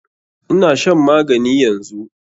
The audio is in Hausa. Ina shan magani yanzu.